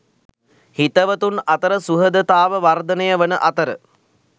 හිතවතුන් අතර සුහදතාව වර්ධනය වන අතර